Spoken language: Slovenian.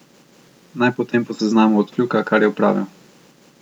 Naj potem po seznamu odkljuka, kar je opravil.